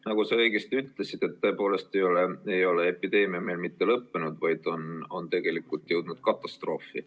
Nagu sa õigesti ütlesid, tõepoolest ei ole epideemia meil mitte lõppenud, vaid tegelikult oleme jõudnud katastroofi.